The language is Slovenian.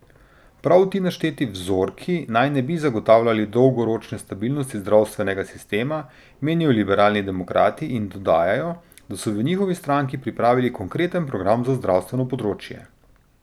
Prav ti našteti vzorki naj ne bi zagotavljali dolgoročne stabilnosti zdravstvenega sistema, menijo liberalni demokrati in dodajajo, da so v njihovi stranki pripravili konkreten program za zdravstevno področje.